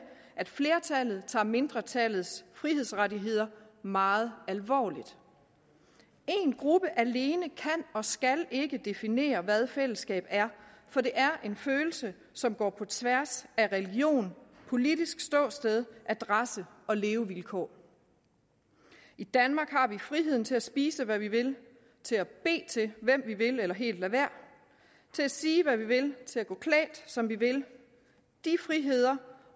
at flertallet tager mindretallets frihedsrettigheder meget alvorligt en gruppe alene kan og skal ikke definere hvad fællesskab er for det er en følelse som går på tværs af religion politisk ståsted adresse og levevilkår i danmark har vi friheden til at spise hvad vi vil til at bede til hvem vi vil eller helt lade være til at sige hvad vi vil til at gå klædt som vi vil de friheder